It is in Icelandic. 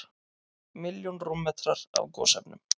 Milljón rúmmetrar af gosefnum